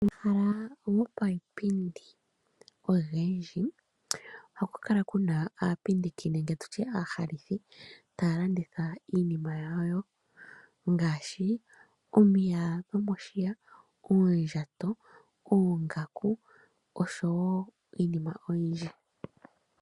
Omahala gopayipindi ogendji ohakukala kuna aapindiki nenge tutye aalandithi taya landitha iinima yawo ngaashi, omiya dhomoshiya, uundjato, oongaku, osho wo iinima oyindji.